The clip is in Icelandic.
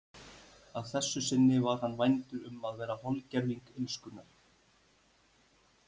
Að þessu sinni var hann vændur um að vera holdgervingur illskunnar.